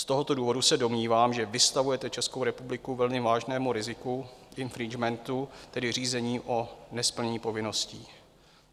Z tohoto důvodu se domnívám, že vystavujete Českou republiku velmi vážnému riziku infringementu, tedy řízení o nesplnění povinností.